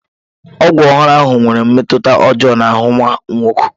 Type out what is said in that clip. Ọgwụ ọhụrụ ahụ nwere mmetụta ọjọọ n'ahụ nwa m nwoke